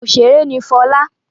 Òṣèrè ni Fọlá.